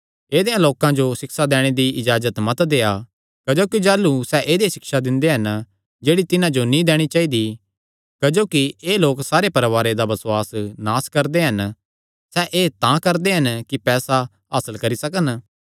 ऐदेयां लोकां जो सिक्षा दैणे दी इजाजत मत देआ क्जोकि जाह़लू सैह़ ऐदई सिक्षा दिंदे हन जेह्ड़ी तिन्हां जो नीं दैणी चाइदी क्जोकि एह़ लोक सारे परवारां दा बसुआस नास करदे हन सैह़ एह़ तां करदे हन कि पैसा हासल करी सकन